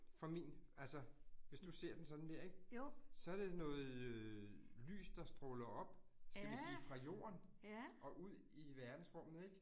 Fra min altså, hvis du ser den sådan der ik? Så det noget øh lys, der stråler op skal vi sige fra jorden? Og ud i verdensrummet ik